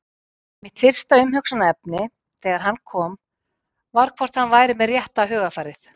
Mitt fyrsta umhugsunarefni þegar hann kom var hvort hann væri með rétta hugarfarið?